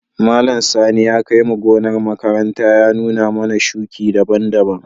Malam Sani ya kai mu gonar makaranta ya nuna mana shuki daban-daban.